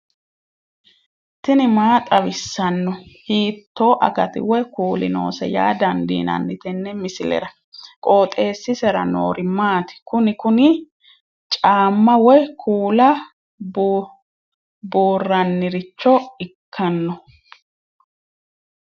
tini maa xawissanno ? hiitto akati woy kuuli noose yaa dandiinanni tenne misilera? qooxeessisera noori maati? kuni kuni caamma woy kuula buurranniricho ikkanno ?